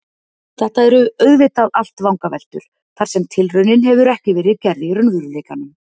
Þetta eru auðvitað allt vangaveltur þar sem tilraunin hefur ekki verið gerð í raunveruleikanum.